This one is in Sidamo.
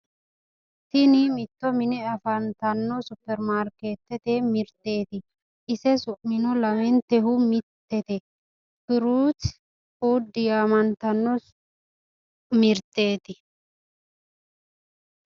Tini mitto mine afantanno supperimaarkeettete mirteeti. Ise su'mino lamentehu mittete. Firuuti fuddi yaamantanno mirteeti.